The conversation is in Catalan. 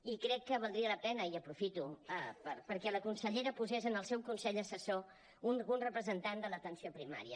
i crec que valdria la pena i ho aprofito perquè la consellera posés en el seu consell assessor un representant de l’atenció primària